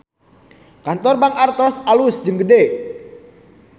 Kantor Bank Artos alus jeung gede